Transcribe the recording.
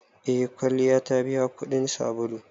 Eh kwalliya ta biya kudin sabulu.